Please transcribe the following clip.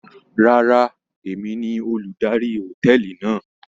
Rárá, èmi ni olùdarí hòtẹ́ẹ̀lì náà.